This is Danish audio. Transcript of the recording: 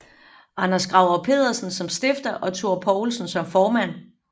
Anders Gravers Pedersen som stifter og Thor Poulsen som formand